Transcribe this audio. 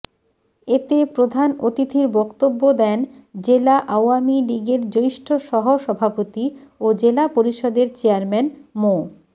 এতে প্রধান অতিথির বক্তব্য দেন জেলা আওয়ামী লীগের জ্যেষ্ঠ সহসভাপতি ও জেলা পরিষদের চেয়ারম্যান মো